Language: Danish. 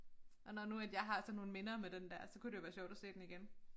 Og når nu at jeg har sådan nogle minder med den der så kunne det jo være sjovt at se den igen